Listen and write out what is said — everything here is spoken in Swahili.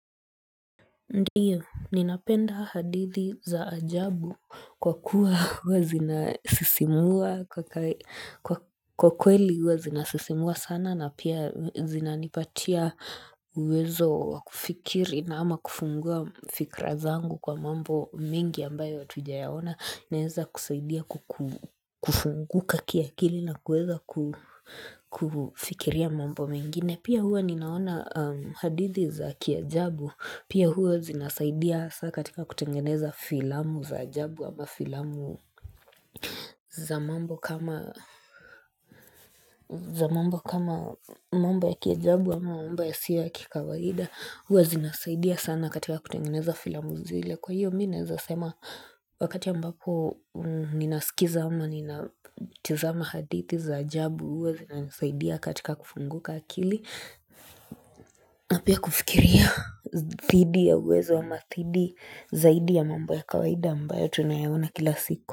Ndiyo, ninapenda hadithi za ajabu kwa kuwa hua zinasisimua kwa kweli hua zinasisimua sana na pia zinanipatia uwezo wa kufikiri ama kufungua fikra zangu kwa mambo mingi ambayo hatujayaona Naweza kusaidia kufunguka kiakili na kuweza kufikiria mambo mengine Pia huwa ninaona hadithi za kiajabu Pia huwa zinasaidia hasa katika kutengeneza filamu za jabu ama filamu za mambo kama, za mambo kama mambo ya kiajabu ama mamba yasiyo ya kikawaida. Huwa zinasaidia sana katika kutengeneza filamu zile Kwa hiyo mimi nawezasema wakati ambapo ninasikiza ama ninatizama hadithi za ajabu huwa zinanisaidia katika kufunguka akili. Pia kufikiria thidi ya uwezo ama thidi zaidi ya mambo ya kawaida ambayo tunayaona kila siku.